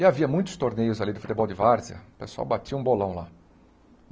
E havia muitos torneios ali de futebol de várzea, o pessoal batia um bolão lá.